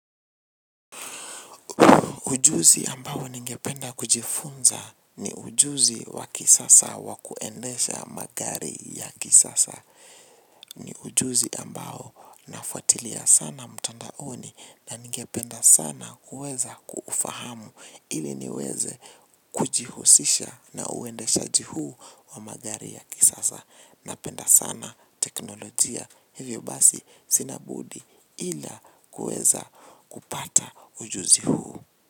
Ujuzi ambao ningependa kujifunza ni ujuzi wa kisasa wa kuendesha magari ya kisasa. Ni ujuzi ambao nafuatilia sana mtandaoni na ningependa sana kuweza kuufahamu ili niweze kujihusisha na uendeshaji huu wa magari ya kisasa. Napenda sana teknolojia hivyo basi sina budi ila kuweza kupata ujuzi huu.